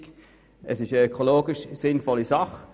Zudem ist das eine ökologisch sinnvolle Sache.